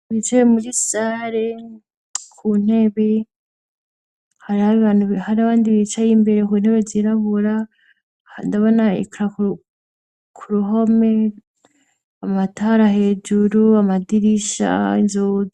Bicaye muri sare ku ntebe hari abandi bicaye imbere ku ntebe zirabura ndabona ikaro ku ruhome amatara hejuru amadirisha inzugi.